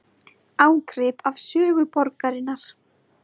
Ágrip af sögu borgarinnar